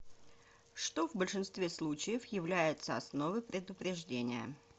что в большинстве случаев является основой предупреждения